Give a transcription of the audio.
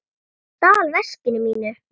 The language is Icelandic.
Hann stal veskinu mínu.